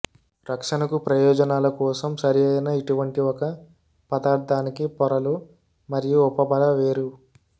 రక్షణకు ప్రయోజనాల కోసం సరిఅయిన ఇటువంటి ఒక పదార్ధానికి పొరలు మరియు ఉపబల వేరు